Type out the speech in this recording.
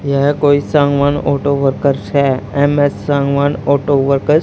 यह कोई Sangwan auto workers है एम_एस सांगवान ऑटो वर्कर्स ।